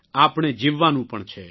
આપણે જીવવાનું પણ છે